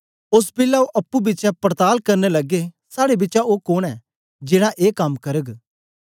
ओस बेलै ओ अप्पुं पिछें पोछपड़ताल करन लगे साड़े बिचा ओ कोन ऐ जेड़ा ए कम करग